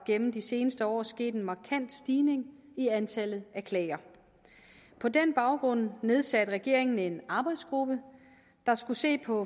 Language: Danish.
gennem de seneste år sket en markant stigning i antallet af klager på den baggrund nedsatte regeringen en arbejdsgruppe der skulle se på